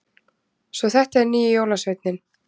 Svo þetta er nýji jólasveininn!